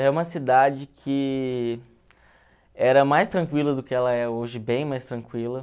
é uma cidade que era mais tranquila do que ela é hoje, bem mais tranquila.